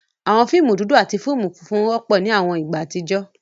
Awọn fiimu dudu ati funfun wọpọ ni awọn igba atijọ